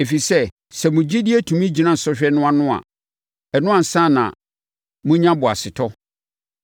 ɛfiri sɛ, sɛ mo gyidie tumi gyina sɔhwɛ no ano a, ɛno ansa na monya boasetɔ.